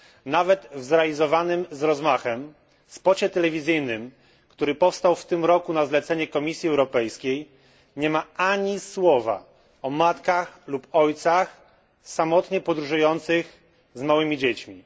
Nawet w zrealizowanym z rozmachem spocie telewizyjnym, który powstał w tym roku na zlecenie Komisji Europejskiej, nie ma ani słowa o matkach lub ojcach samotnie podróżujących z małymi dziećmi.